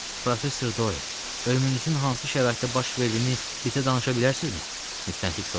Professor Doyel, ölümünüzün hansı şəraitdə baş verdiyini bizə danışa bilərsinizmi?